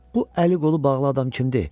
Bu əli-qolu bağlı adam kimdir?